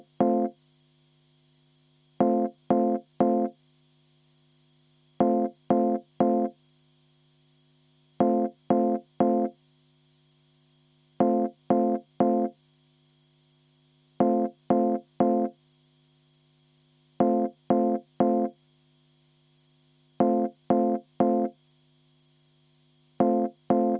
Ma palun seda muudatusettepanekut hääletada ja võtan enne ka kümme minutit vaheaega.